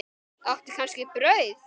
Áttu kannski brauð?